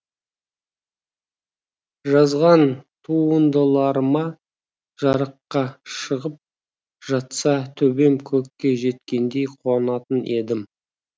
жазған туындыларыма жарыққа шығып жатса төбем көкке жеткендей қуанатын едім